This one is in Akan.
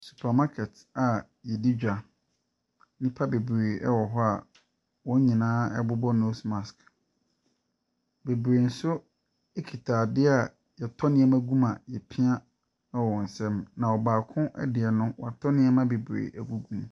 Supermarket a yɛdi dwa. Nnipa bebree ɛwɔ hɔ a wɔn nyinaa bobɔ nose mask. Bebree nso ekuta adea yɛtɔ nnoɔma gu mu a yɛpia. Baako deɛ no, woatɔ nneema bebree agu mu.